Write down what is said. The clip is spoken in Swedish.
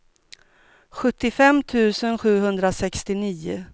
sjuttiofem tusen sjuhundrasextionio